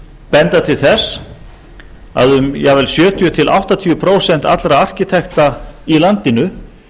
benda til þess að um jafnvel sjötíu til áttatíu prósent allra arkitekta í landinu